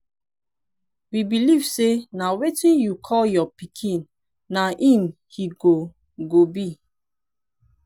we believe say na wetin yiu call your pikin na im he go go be.